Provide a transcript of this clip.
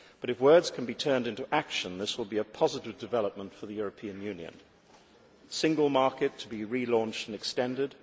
But if words can be turned into action, this will be a positive development for the European Union a single market to be re launched and extended